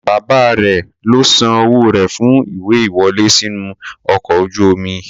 Bàbáa rẹ̀ ló san owó rẹ̀ fún ìwé ìwọlé sínú ọkọ̀ ojú omi.